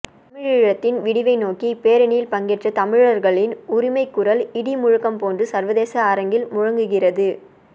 தமிழீழத்தின் விடிவை நோக்கிய இப்பேரணியில் பங்கேற்ற தமிழர்களின் உரிமை குரல் இடி முழக்கம் போன்று சர்வேதேச அரங்கில் முழங்குகிறது